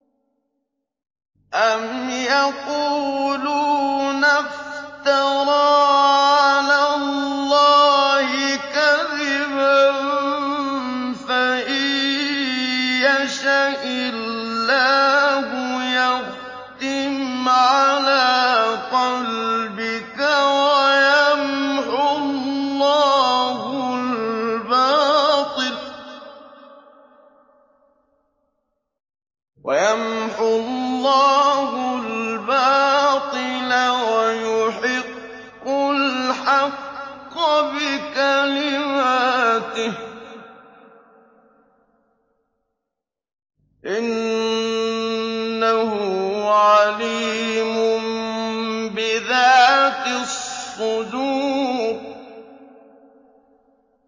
أَمْ يَقُولُونَ افْتَرَىٰ عَلَى اللَّهِ كَذِبًا ۖ فَإِن يَشَإِ اللَّهُ يَخْتِمْ عَلَىٰ قَلْبِكَ ۗ وَيَمْحُ اللَّهُ الْبَاطِلَ وَيُحِقُّ الْحَقَّ بِكَلِمَاتِهِ ۚ إِنَّهُ عَلِيمٌ بِذَاتِ الصُّدُورِ